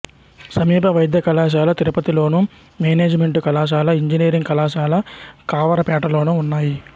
సమీప వైద్య కళాశాల తిరుపతిలోను మేనేజిమెంటు కళాశాల ఇంజనీరింగ్ కళాశాల కావరాపేటలోనూ ఉన్నాయి